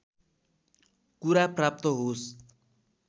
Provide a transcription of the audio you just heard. कुरा प्राप्त होस्